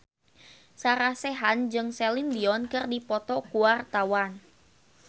Sarah Sechan jeung Celine Dion keur dipoto ku wartawan